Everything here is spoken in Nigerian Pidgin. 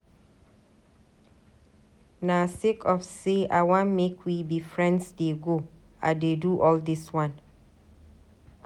Na sake of sey I wan make we be friends dey go I dey do all dis wan.